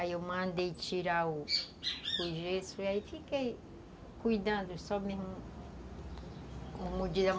Aí eu mandei tirar o o gesso e aí fiquei cuidando só mesmo